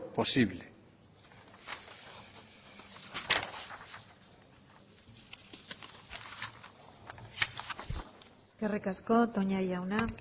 posible eskerrik asko toña jauna